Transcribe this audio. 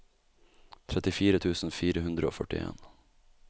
trettifire tusen fire hundre og førtien